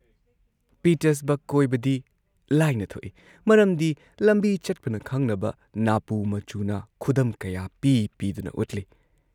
Pittsburgh ꯀꯣꯏꯕꯗꯤ ꯂꯥꯏꯅ ꯊꯣꯛꯏ ꯃꯔꯝꯗꯤ ꯂꯝꯕꯤ ꯆꯠꯄꯅ ꯈꯪꯅꯕ ꯅꯥꯄꯨ ꯃꯆꯨꯅ ꯈꯨꯗꯝ ꯀꯌꯥ ꯄꯤ ꯄꯤꯗꯨꯅ ꯎꯠꯂꯤ ꯫